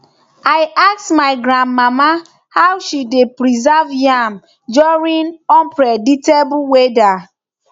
i ask my granmama how she dey preserve yam during unpredictable weather